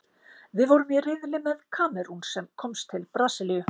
Við vorum í riðli með Kamerún, sem komst til Brasilíu.